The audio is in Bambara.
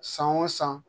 San o san